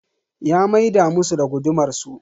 Ya maida musu da gudumar su.